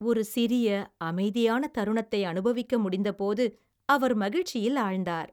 ஒரு சிறிய அமைதியான தருணத்தை அனுபவிக்க முடிந்தபோது அவர் மகிழ்ச்சியில் ஆழ்ந்தார்.